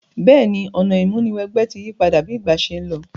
Béèni, ọ̀nà ìmúniwẹgbẹ́ ti yípadà bi ìgbà se n lo